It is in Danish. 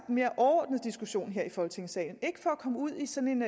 mere overordnede diskussion her i folketingssalen ikke for at komme ud i sådan